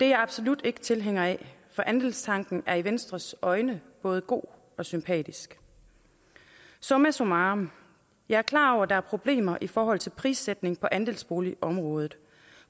jeg absolut ikke tilhænger af for andelstanken er i venstres øjne både god og sympatisk summa summarum jeg er klar over at der er problemer i forhold til prissætningen på andelsboligområdet